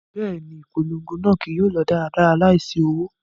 Bẹẹni, ipolongo naa kii yóò lọ daradara laisi owo